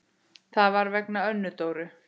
Það var vegna Önnu Dóru.